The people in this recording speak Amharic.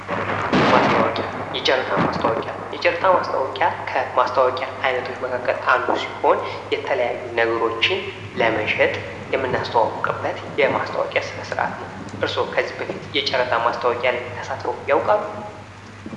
ማስታወቂያ የጨረታ ማስታወቂያ ከማስታወቂያ አይነቶች መካከል አንዱ ሲሆን የተለያዩ ነገሮችን ለመሸጥ የምናስተዋውቅበት የማስታወቂያ ስነ-ስርዓት ነው ።እርስዎ ከዚህ በፊት የጨረታ ማስታወቂያ ላይ ተሳትፎ ያውቃሉ?